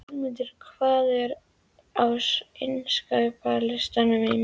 Auðmundur, hvað er á innkaupalistanum mínum?